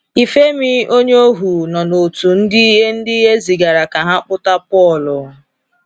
Ifemi, onye ohu, nọ n’otu ndị e ndị e zigara ka ha kpụta Paul.